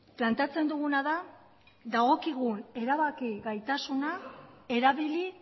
planteatzen duguna da dagokigun erabaki gaitasuna erabili